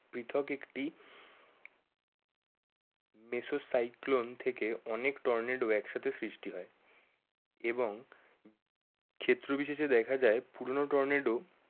পৃথক একটি mesocyclone থেকে অনেক টর্নেডো এক সাথে সৃষ্টি হয়। এবং ক্ষেত্র বিশেষে দেখা যায় পুরোনো টর্নেডো